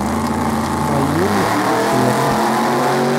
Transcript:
Mayiolo kilome.